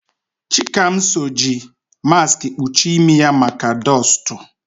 Chikamso ji maskị kpuchie imi ya maka dọstụ.